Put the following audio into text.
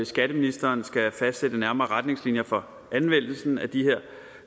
skatteministeren skal fastsætte nærmere retningslinjer for anvendelsen af de her